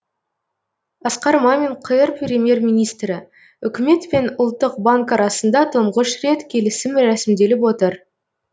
асқар мамин қр премьер министрі үкімет пен ұлттық банк арасында тұңғыш рет келісім рәсімделіп отыр